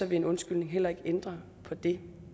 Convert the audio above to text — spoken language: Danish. vil en undskyldning heller ikke ændre på det